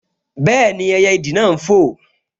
Bẹ́ẹ̀ni, ẹyẹ ìdì náà n fò